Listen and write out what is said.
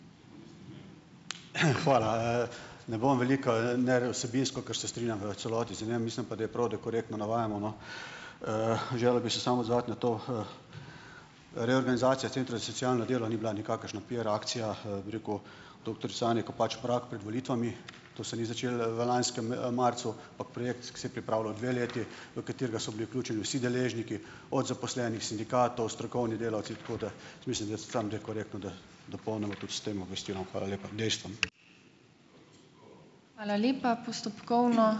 Hvala. Ne bom veliko vsebinsko, ker se strinjam v celoti z njim, mislim pa, da je prav, da korektno navajamo, no. Želel bi se samo odzvati na to, reorganizacija centrov za socialno delo ni bila nikakršna PR-akcija, bi rekel, doktorice Anje Kopač Mrak pred volitvami. To se ni začelo, v lanskem, marcu, ampak projekt, ki se je pripravljal dve leti, v katerega so bili vključeni vsi deležniki od zaposlenih sindikatov, strokovni delavci, tako da dopolnimo tudi s tem obvestilom, hvala lepa, dejstvom.